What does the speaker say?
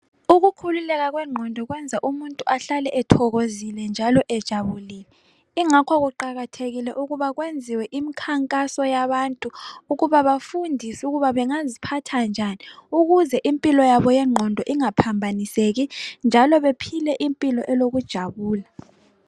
Ukukhululeka kwengqondo kwenza umuntu ahlale ethokozile njalo ejabulile ingakho kuqakathekile ukuba kwenziwe imkhankaso yabantu ukuba bafundise ukuba bengaziphatha njani ukuze impilo yabo yengqondo ingaphambaniseki njalo bephile impilo elokujabula.